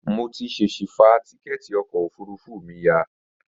Mo ti ṣèṣi fa tíkẹ́ẹ̀tì ọkọ̀ òfurufú mi ya